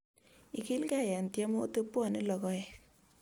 Ikilgei eng tiemutik pwoni logoek